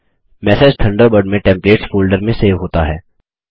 message Thunderbird में templates folder में save होता है